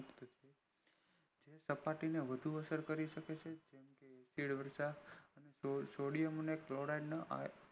સપાટીને વધુ અસર કરી શકે છે sodium clorid ના